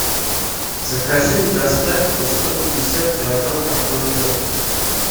закажи и доставь мне сто пятьдесят килограмм картофеля